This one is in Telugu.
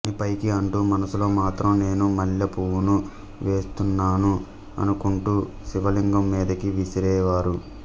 అని పైకి అంటూ మనసులో మాత్రం నేను మల్లెపువ్వును వేస్తున్నాను అనుకుంటూ శివలింగం మీదకి విసిరేవారు